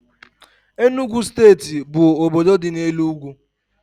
Enugu steeti bụ obodo dị n' elu ugwu